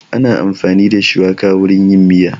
Ana amfani da shuwaka wurin yin miya